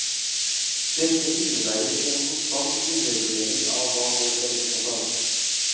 Dette innebærer en konstant undervurdering av hva folk er opptatt av.